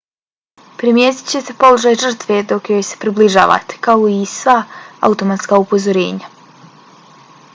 primijetit ćete položaj žrtve dok joj se približavate kao i i sva automatska upozorenja